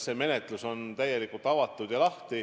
See menetlus on täielikult avatud.